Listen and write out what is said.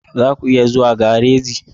Za ku iya zuwa gareji?